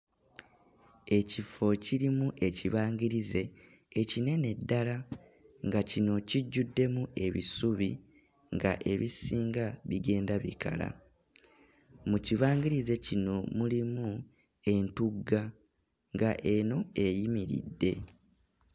Ekifo kirimu ekibangirize ekinene ddala nga kino kijjuddemu ebisubi nga ebisinga bigenda bikala, mu kibangirize kino mulimu entugga nga eno eyimiridde.